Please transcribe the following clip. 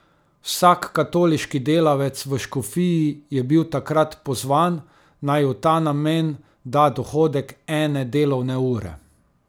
Vsak katoliški delavec v škofiji je bil takrat pozvan, naj v ta namen da dohodek ene delovne ure.